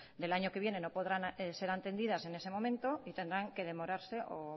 del año que viene no podrán ser atendidas en ese momento y tendrán que demorarse o